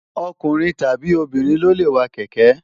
ọkùnrin tàbí obìnrin ló lè wa kẹ̀kẹ́